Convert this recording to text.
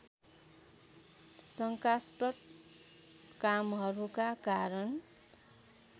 शङ्कास्पद कामहरूका कारण